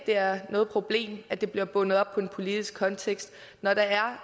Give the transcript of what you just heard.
er noget problem at det bliver bundet op på en politisk kontekst når der er